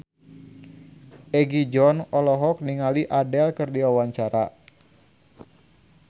Egi John olohok ningali Adele keur diwawancara